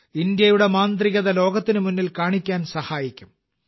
ഭാരതത്തിന്റെ മാന്ത്രികത ലോകത്തിന് മുന്നിൽ കാണിക്കാൻ സഹായിക്കും